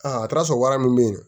Aa a taara sɔrɔ wara mun bɛ yen